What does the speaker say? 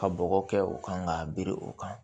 Ka bɔgɔ kɛ o kan k'a biri o kan